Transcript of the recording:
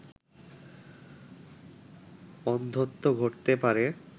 অন্ধত্ব ঘটতে পারে